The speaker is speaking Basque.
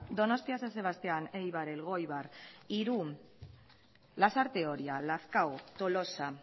donostia san sebastián eibar elgoibar irún lasarte oria lazkao tolosa